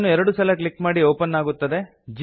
ಅದನ್ನು ಎರಡು ಸಲ ಕ್ಲಿಕ್ ಮಾಡಿ ಓಪನ್ ಆಗುತ್ತದೆ